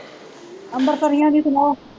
ਅੰਬਰਸਰੀਆਂ ਦੀ ਸੁਣਾਓ?